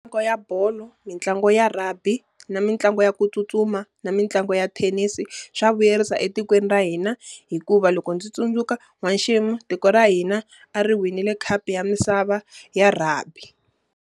ya bolo, mitlangu ya rugby, na mitlangu ya ku tsutsuma, na mitlangu ya thenisi, swa vuyerisa etikweni ra hina. Hikuva loko ndzi tsundzuka n'wexemu, tiko ra hina a ri winile khapu ya misava ya rugby.